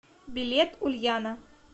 билет ульяна